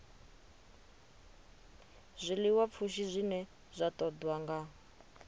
zwiḽiwapfushi zwine zwa ṱoḓwa nga